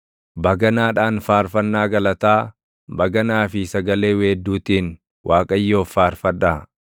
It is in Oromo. baganaadhaan faarfannaa galataa, baganaa fi sagalee weedduutiin Waaqayyoof faarfadhaa;